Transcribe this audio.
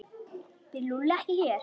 Býr Lúlli ekki hér?